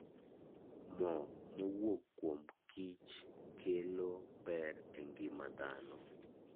Moo mowuok kuom kiny kelo ber e ngima dhano.